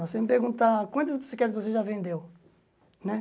Você me perguntar quantas bicicletas você já vendeu né.